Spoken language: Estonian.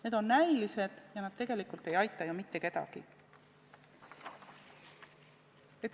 Need on näilised ja need tegelikult ei aita ju mitte kedagi.